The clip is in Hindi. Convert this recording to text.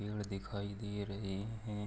पेड़ दिखाई दे रहे हैं।